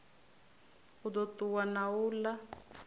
u ḓo ṱuwa na uḽa